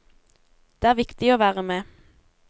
Det er viktig å være med.